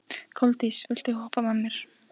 Koldís, viltu hoppa með mér?